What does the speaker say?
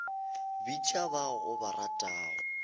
bitša ba o ba ratago